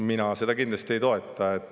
Mina seda kindlasti ei toeta.